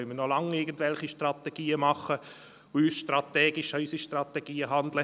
Dann können wir noch lange irgendwelche Strategien machen und uns strategisch an unsere Strategien halten.